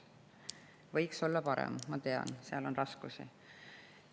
võiks olla, ma tean, seal on raskusi.